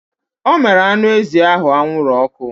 Ọ mere anụ ezi ahụ anwụrụ ọkụ